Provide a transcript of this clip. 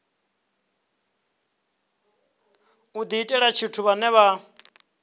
u diitela tshithu vhane vha